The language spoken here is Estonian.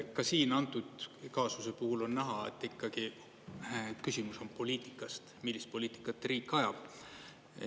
Ka siin antud kaasuse puhul on näha, et ikkagi küsimus on poliitikas, millist poliitikat riik ajab.